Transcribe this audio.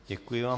Děkuji vám.